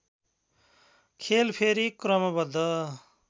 खेल फेरि क्रमबद्ध